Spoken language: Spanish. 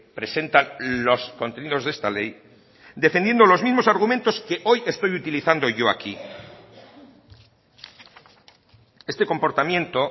presentan los contenidos de esta ley defendiendo los mismos argumentos que hoy estoy utilizando yo aquí este comportamiento